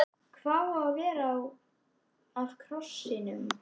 Hvað á að verða af krossinum?